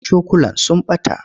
Cokulan sun ɓata.